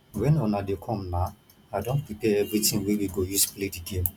wen una dey come na i don prepare everything wey we go use play the game